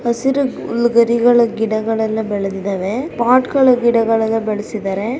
ಹಸಿರು ಹುಲ್ಲು ಗರಿಗಳು ಗಿಡಗಳೆಲ್ಲಾ ಬೆಳೆದಿದವೇ ಪೊಟ್ ಗಳು ಗಿಡಗಳೆಲ್ಲಾ ಬೆಳಸಿದರೆ.